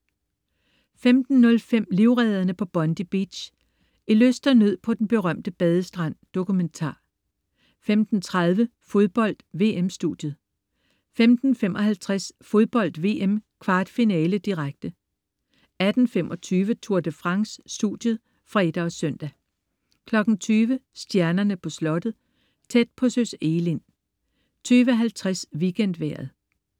15.05 Livredderne på Bondi Beach. I lyst og nød på den berømte badestrand. Dokumentar 15.30 Fodbold: VM-studiet 15.55 Fodbold VM: Kvartfinale, direkte 18.25 Tour de France: Studiet (fre og søn) 20.00 Stjernerne på Slottet. Tæt på Søs Egelind 20.50 WeekendVejret